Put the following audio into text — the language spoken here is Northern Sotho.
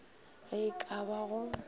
ge e ka ba go